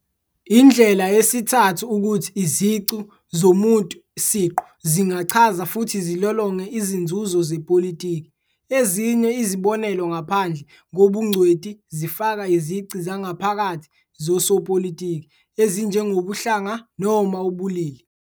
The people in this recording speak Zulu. Indlela yesithathu ukuthi izici zomuntu siqu zingachaza futhi zilolonge izinzuzo zepolitiki. Ezinye izibonelo ngaphandle kobungcweti zifaka izici zangaphakathi zosopolitiki, ezinjengobuhlanga noma ubulili.